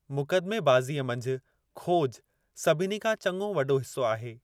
मुकदमेबाज़ीअ मंझि खोज सभिनी खां चङो वॾो हिस्सो आहे।